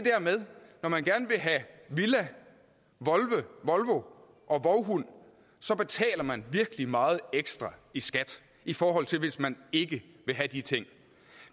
når man gerne vil have villa volvo og vovhund så betaler man virkelig meget ekstra i skat i forhold til hvis man ikke vil have de ting